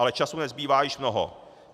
Ale času nezbývá již mnoho.